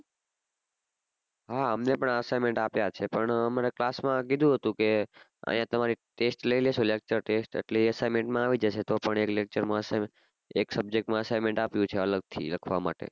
હા અમને પન assignment આપીય છે પન આમારા class માં કીઘુ હતું કે અહિયાં તમાર test લઈ લે શે lecture test એટલે એ assignment માં આવી જશે તો પન એ lecture છે ન એક subject માં આપિયું છે assignment અલગ થી લખવા માટે